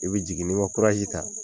I bɛ jigin n'i ye ta